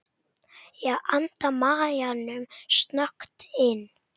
Ég anda maganum snöggt inn.